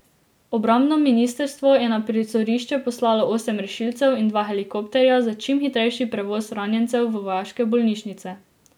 Obrambno ministrstvo je na prizorišče poslalo osem rešilcev in dva helikopterja za čim hitrejši prevoz ranjencev v vojaške bolnišnice.